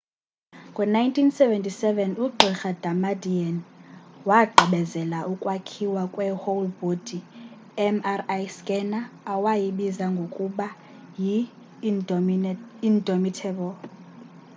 ngo-1977 ugq. damadian wagqibebezela ukwakhiwa kwe whole-body” mri scanner awayibiza ngokuba yi indomitable